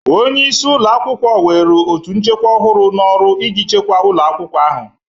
Onye isi ụlọ akwụkwọ were otú nchekwa ọhụrụ n'ọrụ iji chekwa ụlọ akwụkwọ ahụ.